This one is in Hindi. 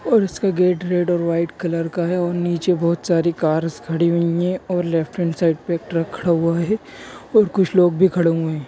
और उसका गेट रेड और व्हाइट कलर का है। और नीचे बहुत सारी कार्स खड़ी हुई है। और लेफ्ट हैन्ड साइड पे एक ट्रक खड़ा हुआ है। और कुछ लोग भी खड़े हुए है।